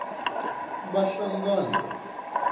bahlangana